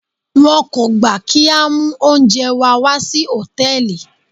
Wọn kò gbà kí á mú oúnjẹ wa wà sí Hòtẹ́lìì.